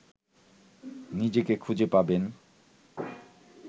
নিজেকে খুঁজে পাবেন